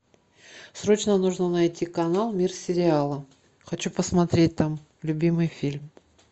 срочно нужно найти канал мир сериала хочу посмотреть там любимый фильм